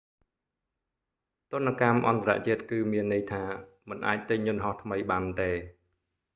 ទណ្ឌកម្មអន្តរជាតិគឺមានន័យថា មិនអាចទិញយន្តហោះថ្មីបានទេ